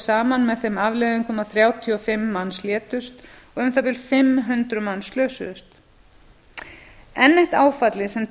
saman með þeim afleiðingum að þrjátíu og fimm manns létust og um það bil fimm hundruð manns slösuðust enn eitt áfallið sem